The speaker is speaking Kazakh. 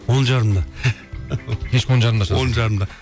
он жарымда кешкі он жарымда шығасың он жарымда